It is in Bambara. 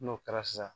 N'o kɛra sa